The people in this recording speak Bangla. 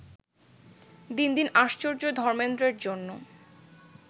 দিন দিন আশ্চর্য ধর্মেন্দ্রর জন্য